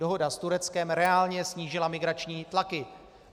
Dohoda s Tureckem reálně snížila migrační tlaky.